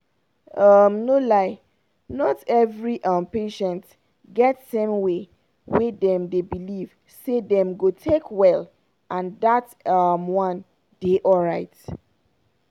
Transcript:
um no lie not every um patient get same way wey dem dey believe say dem go take well and dat um one dey alright.